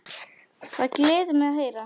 Það gleður mig að heyra.